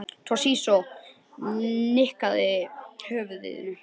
Toshizo nikkaði höfðinu.